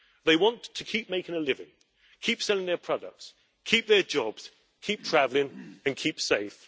They want to keep making a living, keep selling their products, keep their jobs, keep travelling and keep safe.